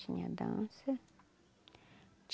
Tinha a dança.